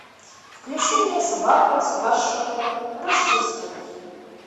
включи мне собака спасшая рождество